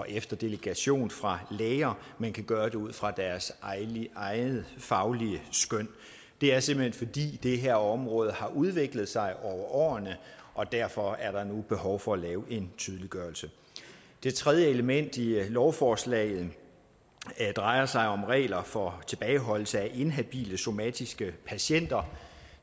efter delegation fra læger men kan gøre det ud fra deres eget faglige skøn det er simpelt hen fordi det her område har udviklet sig over årene og derfor er der nu behov for at lave en tydeliggørelse det tredje element i lovforslaget drejer sig om regler for tilbageholdelse af inhabile somatiske patienter